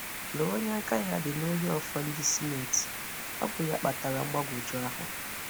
Lee onye aka ya dị n’ọhì ọ̀fọ̀ ndị Sínétì. Ọ bụ́ ya kpatara mgbagwoju ahụ!